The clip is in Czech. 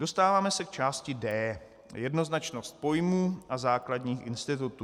Dostáváme se k části D - Jednoznačnost pojmů a základních institutů.